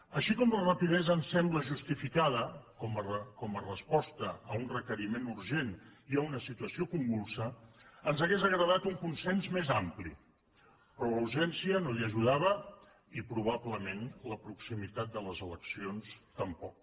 així com la rapidesa em sembla justificada com a resposta a un requeriment urgent i a una situació convulsa ens hauria agradat un consens més ampli però la urgència no hi ajudava i probablement la proximitat de les eleccions tampoc